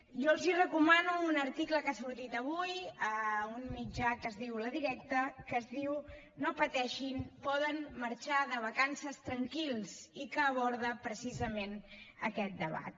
jo els recomano un article que ha sortit avui a un mitjà que es diu la directa que es diu no pateixin poden marxar de vacances tranquils i que aborda precisament aquest debat